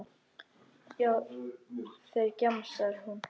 Já, þeir, kjamsar hún.